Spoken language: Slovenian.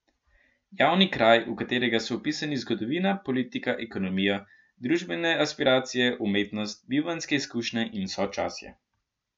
Javni kraj, v katerega so vpisani zgodovina, politika, ekonomija, družbene aspiracije, umetnost, bivanjske izkušnje in sočasje.